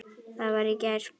það var í gær.